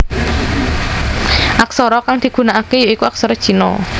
Aksara kang digunakake ya iku aksara Cina